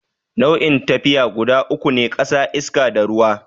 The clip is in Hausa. Nau'in tafiya guda uku ne, ƙasa, iska, da ruwa.